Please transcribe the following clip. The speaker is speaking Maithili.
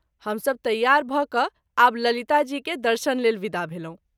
हम सभ तैयार भ’ क’आब ललिता जी के दर्शन लेल विदा भेलहुँ।